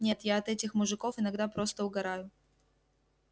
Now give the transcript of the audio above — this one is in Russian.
нет я от этих мужиков иногда просто угораю